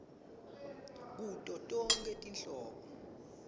kuto tonkhe tinhlobo